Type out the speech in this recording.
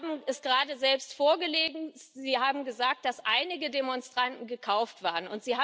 Sie haben es gerade selbst vorgelesen. Sie haben gesagt, dass einige Demonstranten gekauft waren.